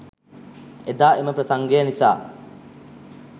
එදා එම ප්‍රසංගය නිසා